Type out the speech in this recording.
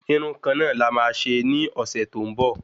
Irun kan na la má ṣe ní ọsẹ tó ń bọ̀